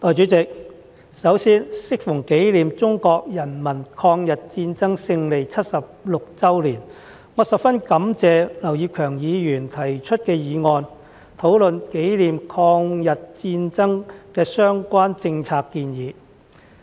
代理主席，首先，適逢紀念中國人民抗日戰爭勝利76周年，我十分感謝劉業強議員提出議案，討論紀念抗日戰爭的相關政策建議。